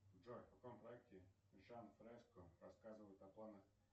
джой в каком проекте жак фреско рассказывает о планах